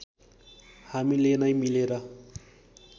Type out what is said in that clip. हामीले नै मिलेर